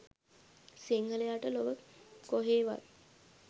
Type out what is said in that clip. සිංහලයාට ලොව කොහේවත්